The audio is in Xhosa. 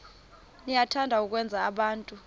niyathanda ukwenza abantu